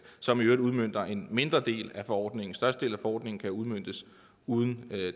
som i øvrigt udmønter en mindre del af forordningen den største del af forordningen kan udmøntes uden